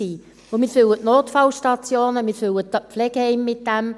So füllen wir die Notfallstationen und die Pflegeheime.